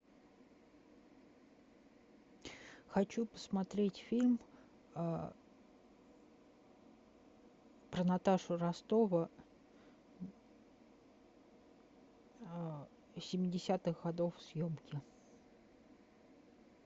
хочу посмотреть фильм про наташу ростову семидесятых годов съемки